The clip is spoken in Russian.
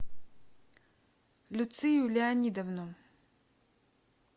люцию леонидовну